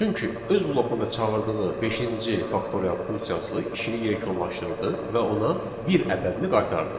Çünki öz blokunda çağırdığı beşinci faktorial funksiyası işini yekunlaşdırdı və ona bir ədədini qaytardı.